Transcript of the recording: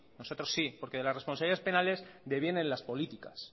nosotros sí porque de las responsabilidades penales deviene en las políticas